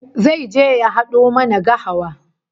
Zai je ya hado mana gahawa